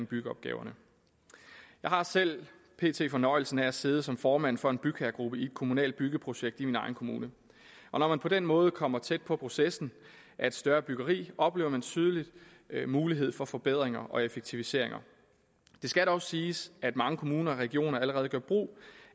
byggeopgaverne jeg har selv pt fornøjelsen af at sidde som formand for en bygherregruppe i et kommunalt byggeprojekt i min egen kommune og når man på den måde kommer tæt på processen af et større byggeri oplever man tydeligt muligheden for forbedringer og effektiviseringer det skal dog siges at mange kommuner og regioner allerede gør brug